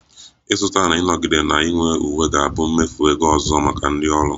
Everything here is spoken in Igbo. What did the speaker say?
Ịzụta na ịnọgide na-enwe uwe ga-abụ mmefu ego ọzọ maka ndị ọrụ